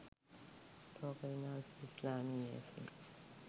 ලෝක විනාශය ඉස්ලාමීය ඇසින්